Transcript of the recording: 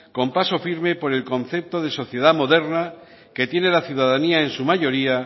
con paso firme por el concepto de sociedad moderna que tiene la ciudadanía en su mayoría